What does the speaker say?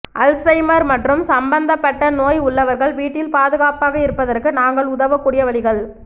Alzheimer மற்றும் சம்பந்தப்பட்ட நோய் உள்ளவர்கள் வீட்டில் பாதுகாப்பாக இருப்பதற்கு நாங்கள் உதவக்கூடிய வழிகள்